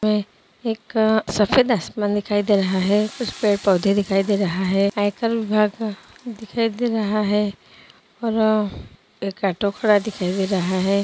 म एक सफेद आसमान दिखाई दे रहा है कुछ पेड़ पौधे दिखाई दे रहा है और घर पर दिखाई दे रहा है और एक दिखाई दे रहा है।